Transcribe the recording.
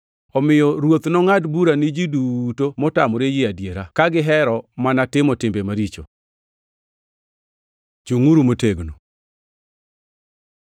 omiyo Ruoth nongʼad bura ni ji duto motamore yie adiera, ka gihero mana timo timbe maricho. Chungʼuru motegno